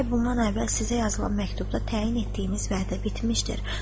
Bir ay bundan əvvəl sizə yazılan məktubda təyin etdiyimiz vədə bitmişdir.